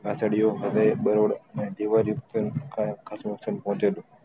બરોળ અન તેવોજ પહુચેલો